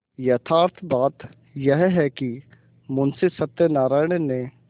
यथार्थ बात यह है कि मुंशी सत्यनाराण ने